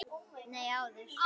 Nei, áður.